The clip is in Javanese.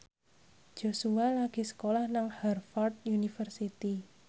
Joshua lagi sekolah nang Harvard university